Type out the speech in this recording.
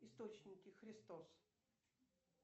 источники христос